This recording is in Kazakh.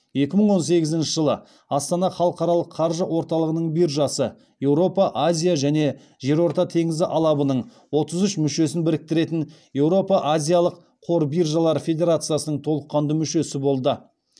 екі мың он сегізінші жылы астана халықаралық қаржы орталығының биржасы еуропа азия және жерорта теңізі алабының отыз үш мүшесін біріктіретін еуропа азиялық қор биржалары федерациясының толыққанды мүшесі болды